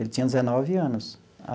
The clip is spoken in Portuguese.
Ele tinha dezenove anos.